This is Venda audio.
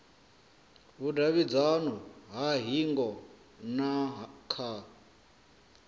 vhudavhidzano ha hingo na kha